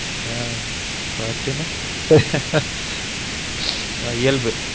அ பட்டுனு அ இயல்பு